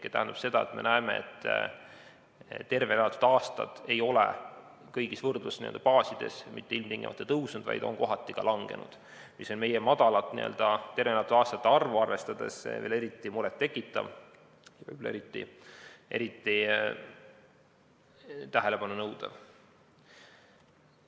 See tähendab seda, et me näeme, et tervena elatud aastate arv ei ole kõigis võrdlusbaasides mitte ilmtingimata tõusnud, vaid on kohati ka langenud, mis on meie väikest tervena elatud aastate arvu arvestades veel eriti muret tekitav ja tähelepanu nõudev.